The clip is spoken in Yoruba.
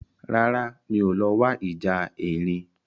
Rárá, mi ò lọ wo ìjà erin